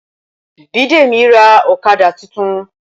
Bidemi ra ọ̀kadà titun